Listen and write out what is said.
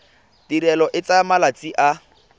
tirelo e tsaya malatsi a